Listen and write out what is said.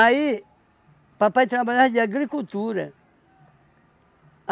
papai trabalhava de agricultura.